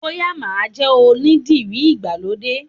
Bóyá máa jẹ́ onídìrí ìgbàlódé